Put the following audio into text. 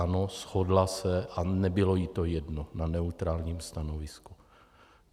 Ano, shodla se, a nebylo jí to jedno, na neutrálním stanovisku.